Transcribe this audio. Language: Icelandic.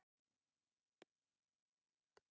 Fylgja eigin sýn.